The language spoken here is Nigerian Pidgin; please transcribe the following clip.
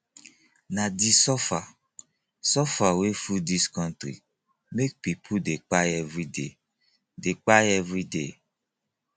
na di suffer suffer wey full dis country make pipo dey kpai everyday dey kpai everyday